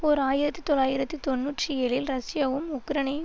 ஓர் ஆயிரத்தி தொள்ளாயிரத்து தொன்னூற்றி ஏழில் ரஷ்யவும் உக்ரனை